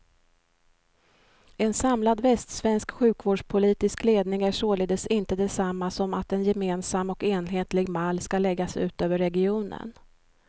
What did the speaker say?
En samlad västsvensk sjukvårdspolitisk ledning är således inte detsamma som att en gemensam och enhetlig mall skall läggas ut över regionen.